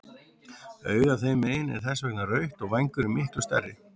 Augað þeim megin er þess vegna rautt og vængurinn miklu stærri.